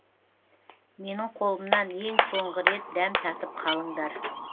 менің қолымнан ең соңғы рет дәм татып қалыңдар